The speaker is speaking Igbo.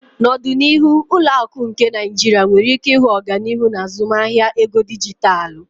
N'ọdịnihu ụlọ akụ nke Nigeria nwere ike ịhụ ọganihu n'azụmahịa ego dijitalụ.